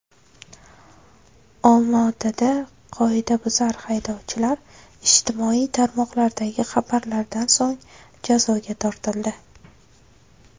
Olmaotada qoidabuzar haydovchilar ijtimoiy tarmoqlardagi xabarlardan so‘ng jazoga tortildi.